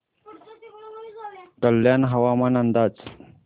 कल्याण हवामान अंदाज